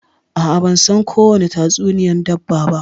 A'a ban san kowani tatsuniyan dabba ba.